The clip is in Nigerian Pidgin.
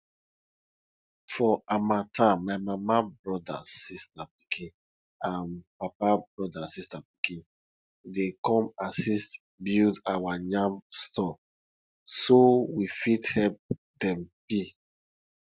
for harmattan my mama broda sista pikin and papa broda sista pikin dey come assist build our yam store so we fit help dem peel